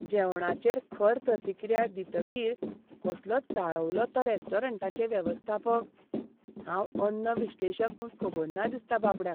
जेवणाचेर खर प्रतिक्रिया दितकीर कसलो चाळवलो तो रेस्टॉरंटाचे वेवस्थापक. हांव अन्न विश्लेशक म्हूण खबर ना दिसता बाबड्याक.